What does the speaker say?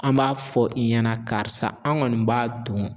An b'a fɔ i ɲɛna karisa an kɔni b'a don.